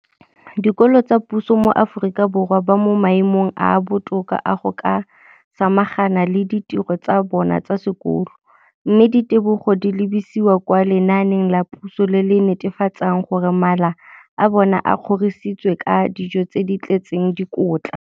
dikolo tsa puso mo Aforika Borwa ba mo maemong a a botoka a go ka samagana le ditiro tsa bona tsa sekolo, mme ditebogo di lebisiwa kwa lenaaneng la puso le le netefatsang gore mala a bona a kgorisitswe ka dijo tse di tletseng dikotla.